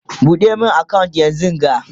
ɓuɗe min account yanzunga!